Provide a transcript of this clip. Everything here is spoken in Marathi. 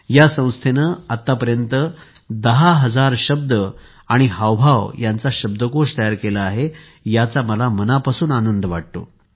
या संस्थेने आतापर्यंत दहा हजार शब्द आणि हावभावांचा शब्दकोश तयार केला आहे याचा मला मनापासून आनंद वाटतो